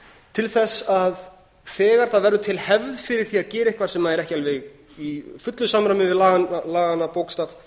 til þess að þegar það verður til hefð fyrir því að gera eitthvað sem er ekki alveg í fullu samræmi við laganna bókstaf